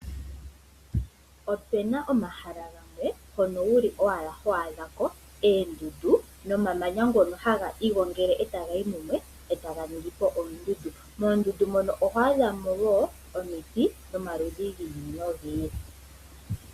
Ope na omahala gamwe hono owala ho adhako oondundu nomamanya ngoka hagi igongele e taga yi mumwe e taga ningi ondundu. Moondundu mono oho adha mo wo omiti dhomaludhi gi ili nogi ili.